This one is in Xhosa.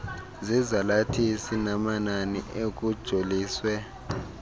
zezalathisi namanani ekujoliswe